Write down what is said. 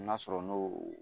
N'a sɔrɔ n'o